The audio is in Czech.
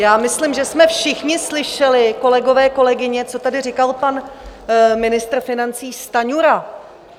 Já myslím, že jsme všichni slyšeli, kolegové, kolegyně, co tady říkal pan ministr financí Stanjura.